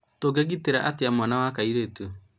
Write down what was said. Tũngĩgitĩra atĩa mwana wa kairĩtu?